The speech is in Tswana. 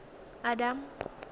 adam